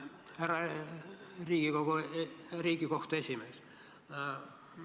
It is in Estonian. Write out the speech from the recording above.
Härra Riigikohtu esimees!